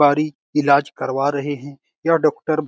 बारी ईलाज करवा रहे हैं यह डॉक्टर --